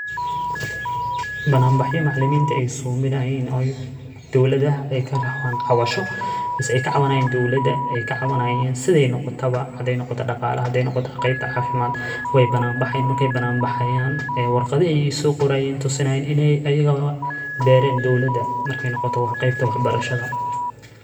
Banan baxhiyo macalamiinta ay suu binay inay ooy dooladaha ay ka raawan cawasho, isaga ka cawaanaayin dawlada ay ka cawaanaayeen siday noqotahay, haday noqota dhaqaale, haday noqota qeybta caafimaad way banaan baxeen markay banaan baxayaan ee warqadii ay suu qorayn tusinayn inay ayagaga beeren dawladaha markay noqotahay qeybta waxbarashada.